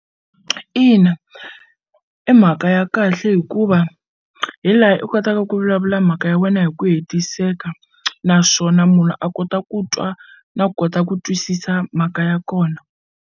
Ina i mhaka ya kahle hikuva hi laha i kotaka ku vulavula mhaka ya wena hi ku hetiseka naswona munhu a kota ku twa na ku kota ku twisisa mhaka ya kona.